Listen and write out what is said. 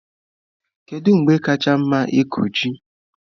Kedu mgbe kacha mma ịkụ ji?